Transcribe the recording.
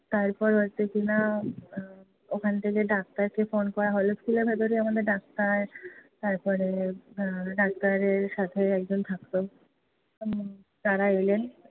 তারপর ওখান থেকে doctor কে phone করা হলো। school এর ভেতরে আমাদের doctor তারপরে এর doctor এর সাথে একজন থাকতো। তারা এলেন